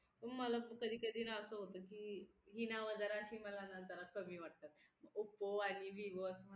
मग मला कधी कधी नाअसं होतं की ही नाव जरा अशी मला ना जरा कमी वाटतात oppo आणि vivo अशी